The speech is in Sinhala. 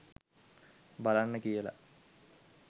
බලන්න කියලා.